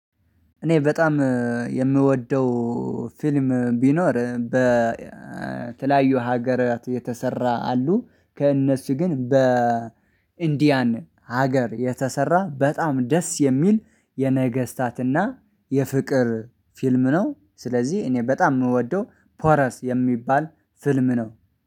እኔ በጣም የምወደው ፊልም ቢኖር በተለያዩ ሀገራት የተሰራ አሉ ከእነሱ ግን በ እንዲያን ሀገር የተሰራ በጣም ደስ የሚል የነገስታትና የፍቅር ፊልም ነው። ስለዚህ እኔ በጣም የምወደው ፖረስ የሚባል ፍልም ነው